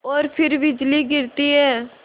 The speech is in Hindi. और फिर बिजली गिरती है